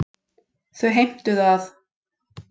Þau heimtuðu að